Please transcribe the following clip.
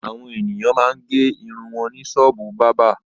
Àwọn ènìyàn máa ń gẹ irun wọn ní ṣọ́ọ́bù bábà.